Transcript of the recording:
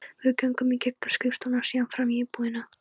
Við göngum í gegnum skrifstofuna og síðan fram í búðina.